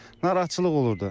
Narahatçılıq olurdu.